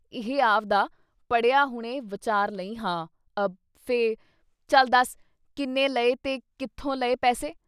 ਇਹ ਆਵਦਾ ਪੜ੍ਹਿਆ ਹੁਣੇ ਵਚਾਰ ਲਈਂ ਹਾਂ…… ਅ……ਫੇ… ਚੱਲ ਦੱਸ ਕਿੰਨੇ ਲਏ ਤੇ ਕਿੱਥੋਂ ਲਏ ਪੈਸੇ।